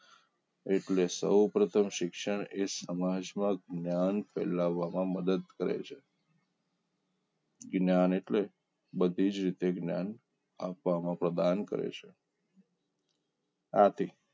એટલે સૌપ્રથમ શિક્ષણ સમાજમાં ફેલાવવામાં મદદ કરે છે જ્ઞાન એટલે બધી જ તે જ્ઞાન આપવામાં પ્રદાન કરે છે આથી